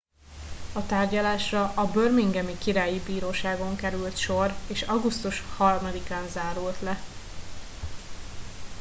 a tárgyalásra a birminghami királyi bíróságon került sor és augusztus 3 án zárult le